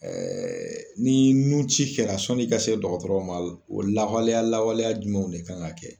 Ɛɛɛ ni nun ci kɛra sɔn'i ka se dɔgɔtɔrɔw ma o lakɔleya lawaleya jumɛnw de kan ka kɛ